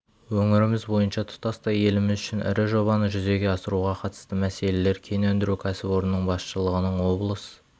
өңіріміз және тұтастай еліміз үшін ірі жобаны жүзеге асыруға қатысты мәселелер кен өндіру кәсіпорнының басшылығының облыс